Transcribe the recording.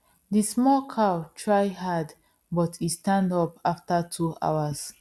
the small cow try hard but e stand up after two hours